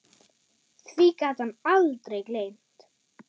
Því gat hann aldrei gleymt.